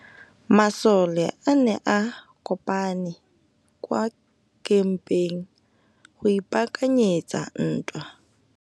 Masole a ne a kopane kwa kampeng go ipaakanyetsa ntwa.